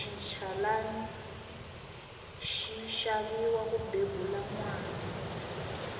xinchalani xi xaviwa ku bebula nwana